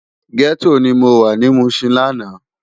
Gètó ni mó wá ni Mushin làná